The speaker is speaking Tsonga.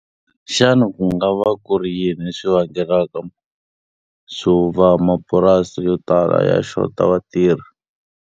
Xana ku nga va ku ri yini leswi vangelaka swo va mapurasi yo tala ya xota vatirhi?